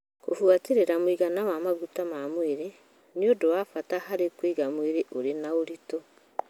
Kũbuatĩrĩra mũigana wa maguta ma mwĩrĩ nĩ ũndũ wa bata harĩ kũiga mwĩrĩ ũrĩ na ũritũ.